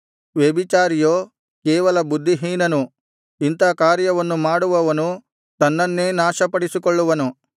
ವ್ಯಭಿಚಾರಿಯೋ ಕೇವಲ ಬುದ್ಧಿಹೀನನು ಇಂಥಾ ಕಾರ್ಯವನ್ನು ಮಾಡುವವನು ತನ್ನನ್ನೇ ನಾಶಪಡಿಸಿಕೊಳ್ಳುವನು